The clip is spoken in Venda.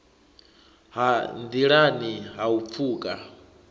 ha nḓilani ha u pfuka